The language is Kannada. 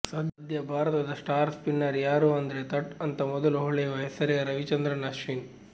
ಸದ್ಯ ಭಾರತದ ಸ್ಟಾರ್ ಸ್ಪಿನ್ನರ್ ಯಾರು ಅಂದ್ರೆ ಥಟ್ ಅಂತ ಮೊದಲು ಹೊಳೆಯುವ ಹೆಸರೇ ರವಿಚಂದ್ರನ್ ಅಶ್ವಿನ್